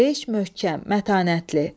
Beş, möhkəm, mətanətli.